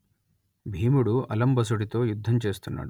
భీముడు అలంబసుడితో యుద్ధం చేస్తున్నాడు